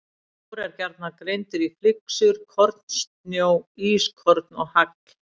Snjór er gjarnan greindur í flyksur, kornsnjó, ískorn og hagl.